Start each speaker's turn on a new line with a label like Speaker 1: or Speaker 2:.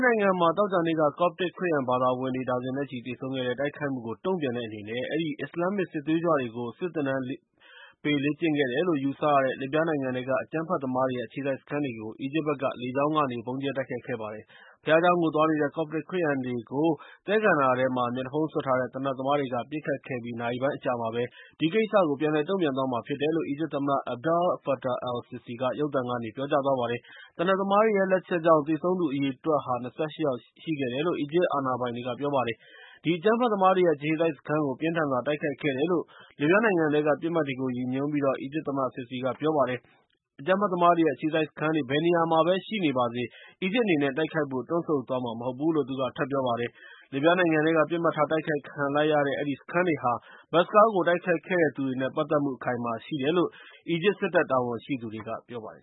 Speaker 1: နိုင်ငံမှာ သောကြာနေ့က ကော့ပ်တစ် ခရစ်ယာန် ဘာသာဝင်တွေ ဒါဇင်နဲ့ချီ သေဆုံးခဲ့တဲ့ တိုက်ခိုက်မှုကို တုံ့ပြန်တဲ့ အနေနဲ့ အဲဒီ အစ္စလာမ္မစ် စစ်သွေးကြွတွေကို စစ်သင်တန်းပေး လေ့ကျင့်ခဲ့တယ်လို့ ယူဆရတဲ့ လစ်ဗျားနိုင်ငံထဲက အကြမ်းဖက်သမားတွေရဲ့အခြေစိုက် စခန်းတွေကို အီဂျစ်ဘက်က လေကြောင်းကနေ ဗုံးကြဲတိုက်ခိုက် ခဲ့ပါတယ်။ ဘုရားကျောင်းကို သွားနေတဲ့ ကော့ပ်တစ် ခရစ်ယာန်တွေကို သဲကန္တာရထဲမှာ မျက်နှာဖုံး စွပ်ထားတဲ့ သေနတ်သမား တွေက ပစ်ခတ်ခဲ့ပြီး နာရီပိုင်းအကြာမှာပဲ ဒီကိစ္စကို ပြန်လည် တုံ့ပြန်သွားမှာ ဖြစ်တယ်လို့ အီဂျစ်သမ္မတ Abdel-Fattah el-Sissi က ရုပ်သံကနေ ပြောကြားခဲ့ပါတယ်။ သေနတ်သမားတွေရဲ့ လက်ချက်ကြောင့် သေဆုံးသူ အရေအတွက်ဟာ ၂၈ ယောက်ရှိတယ်လို့ အီဂျစ် အာဏာပိုင်တွေ က ပြောပါတယ်။ အဲဒီ အကြမ်းဖက် သမားတွေရဲ့အခြေစိုက် စခန်းတွေကို ပြင်းထန်စွာ တိုက်ခိုက်ခဲ့တယ်လို့ လစ်ဗျားနိုင်ငံ ထဲက ပစ်မှတ်တွေကို ရည်ညွှန်းပြီး အီဂျစ်သမ္မတ Sissi က ပြောပါတယ်။ အကြမ်းဖက် သမားတွေရဲ့ အခြေစိုက် စခန်းတွေ ဘယ်နေရာမှာပဲ ရှိနေပါစေ အီဂျစ်အနေနဲ့ တိုက်ခိုက်သွားဖို့ တွန့်ဆုတ်နေမှာ မဟုတ်ဘူးလို့ သူက ထပ်ပြောပါတယ်။ လစ်ဗျားနိုင်ငံထဲက ပစ်မှတ်ထား တိုက်ခိုက် ခံလိုက်ရတဲ့ အဲဒီစခန်းတွေဟာ ဘတ်စ်ကားကို တိုက်ခိုက်ခဲ့တဲ့ သူတွေနဲ့ ပတ်သက်မှု အခိုင်အမာ ရှိတယ်လို့ အီဂျစ်စစ်တပ် တာဝန်ရှိ
Speaker 2: သူတွေက ပြောပါတယ်